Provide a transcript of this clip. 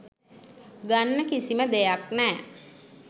ගන්න කිසිම දෙයක් නෑ